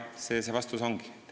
Selline see vastus ongi.